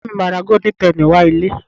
Ìyá mi máa ra golden Penny wá ilé